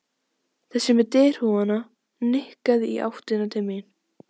Þessi með derhúfuna nikkaði í áttina til mín.